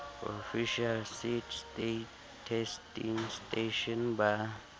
official seed testing station ba